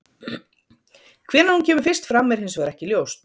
hvenær hún kemur fyrst fram er hins vegar ekki ljóst